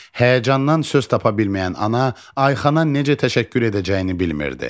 Həyəcandan söz tapa bilməyən ana Ayxana necə təşəkkür edəcəyini bilmirdi.